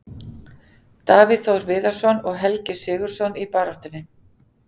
Davíð Þór Viðarsson og Helgi SIgurðsson í baráttunni.